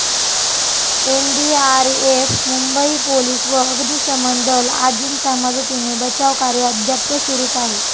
NDRF, Mumbai police व अग्निशमन दल आदींच्या मदतीने बचावकार्य अद्याप सुरूच आहे.